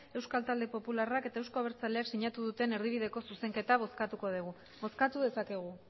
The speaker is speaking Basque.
euskal talde popularrak eta euzko abertzaleak sinatu duten erdibideko zuzenketa bozkatuko dugu bozkatu dezakegu